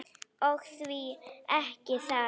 Og því ekki það.